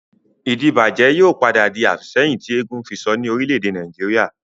Ìdíbàjẹ́ yìí ó padà di àfìsẹ́yìn tí eégún fisọ ni Orílẹ̀ èdè Nàìjíríà